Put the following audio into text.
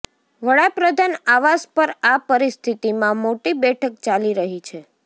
વડાપ્રધાન આવાસ પર આ પરિસ્થિતીમાં મોટી બેઠક ચાલી રહી છે